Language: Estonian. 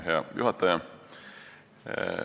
Hea juhataja!